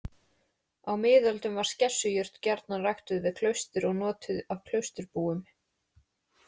Á miðöldum var skessujurt gjarnan ræktuð við klaustur og notuð af klausturbúum.